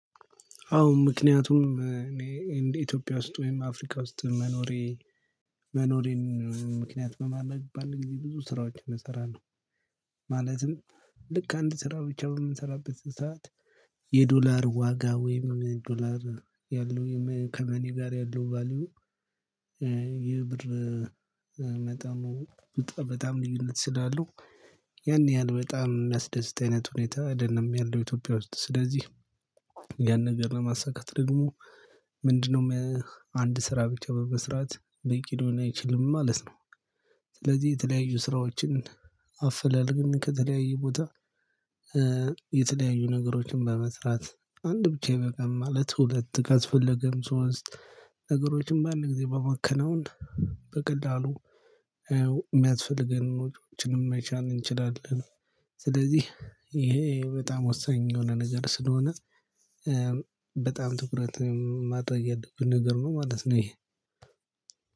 አዎ ምክንያቱም እኔ እንደ ኢትዮጵያ ውስጥ ወይም አፍሪካ ውስጥ መኖሬ መኖሬን ምክንያት በማለት በአንድ ጊዜ ብዙ ስራዎችን እሰራለሁ። ማለትም ልክ አንድ ስራ ብቻ በምንሰራበት ሰዓት የዶላር ዋጋ ወይም ዶላር ያለው ከመኒ ጋር ያለው ቫልዩ። ይህ ብር መጠኑ በጣም ልዩነት ስላሉ ያን ያህል በጣም የሚያስደስት አይነት ሁኔታ አይደለም ያለው ኢትዮጵያ ውስጥ ስለዚህ። ያን ነገር ለማሳካት ደግሞ ምንድነው? አንድ ስራ ብቻ በመስራት በቂ ሊሆን አይችልም ማለት ነው። ስለዚህ የተለያዩ ስራዎችን አፍላል ግን ከተለያዩ ቦታ። የተለያዩ ነገሮችን በመስራት አንድ ብቻ ይበቃም ማለት ሁለት ካስፍለገም ሶስት ነገሮችን ባንድ ግዜ በመከናወን በቀላሉ የሚያስፈልገን ወጭዎችንም መቻል እንችላለን። ስለዚህ ይሄ በጣም ወሳኝ የሆነ ነገር ስለሆነ በጣም ትኩረት ማድረግ ያለብን ነገር ነው ማለት ነው። ይሄ